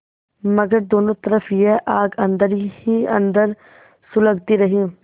मगर दोनों तरफ यह आग अन्दर ही अन्दर सुलगती रही